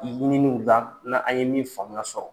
ɲininw la n' an ye min faamuyaya sɔrɔ.